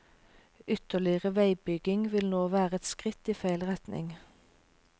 Ytterligere veibygging vil nå være et skritt i feil retning.